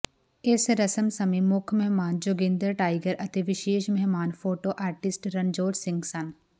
ਇਸ ਰਸਮ ਸਮੇਂ ਮੁੱਖ ਮਹਿਮਾਨ ਜੋਗਿੰਦਰ ਟਾਈਗਰ ਅਤੇ ਵਿਸ਼ੇਸ ਮਹਿਮਾਨ ਫੋਟੋ ਆਰਟਿਸਟ ਰਣਜੋਧ ਸਿੰਘ ਸਨ